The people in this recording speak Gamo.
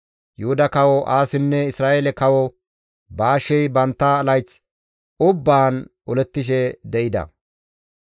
Yuhuda Kawo Aasinne Isra7eele Kawo Baashey bantta layth ubbaan olettishe de7ida.